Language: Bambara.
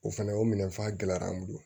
O fana o minɛnfa gɛlɛya an bolo